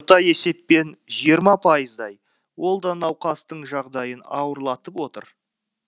есеппен жиырма пайыздай ол да науқастың жағдайын ауырлатып отыр